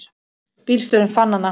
Bílstjórinn fann hana.